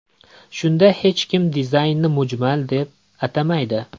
Shunda hech kim dizaynni mujmal deb atamaydi.